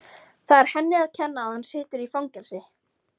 Það er henni að kenna að hann situr í fangelsi.